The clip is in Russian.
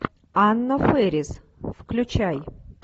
анна фэрис включай